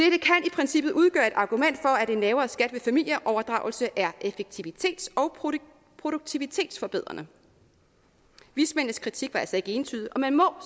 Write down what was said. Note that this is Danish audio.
princippet udgøre et argument for at en lavere skat ved familieoverdragelse er effektivitets og produktivitetsforbedrende vismændenes kritik var altså ikke entydig og man må